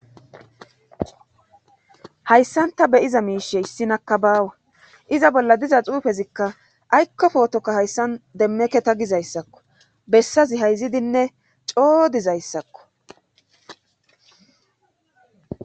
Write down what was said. hayssan ta beyiza miishe issinaka baawa iza bolla diza xuufezikka aykko pootokka hayssan demmeke ta gizayssakko bessazi hayzidinne coo dizayssakko